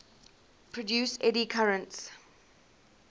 produce eddy currents